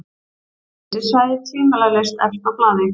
Geysissvæðið tvímælalaust efst á blaði.